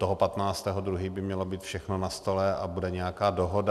Toho 15. 2. by mělo být všechno na stole a bude nějaká dohoda.